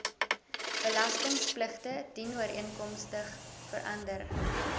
belastingpligtige dienooreenkomstig verander